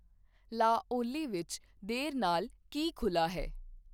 ਲਾ ਓਲੀ ਵਿੱਚ ਦੇਰ ਨਾਲ ਕੀ ਖੁੱਲ੍ਹਾ ਹੈ